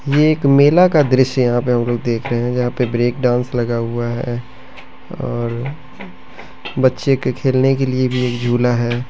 यह एक मेला का दृश्य यहाँ पर हम लोग देख रहे है जहाँ पैर ब्रेक डांस लगा हुआ है और बच्चे के खेल ने लिए भी जुला है।